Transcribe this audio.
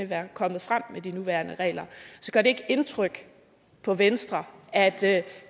være kommet frem med de nuværende regler så gør det ikke indtryk på venstre at